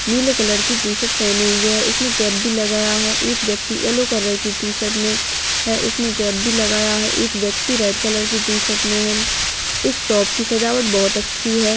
नीले कलर की टीशर्ट पहने हुए है उसने कैप भी लगाया है एक व्यक्ति येलो कलर की टीशर्ट मे है उसने कैप भी लगाया है एक व्यक्ति रेड कलर की टीशर्ट मे है इस शॉप की सजावट बहुत अच्छी है।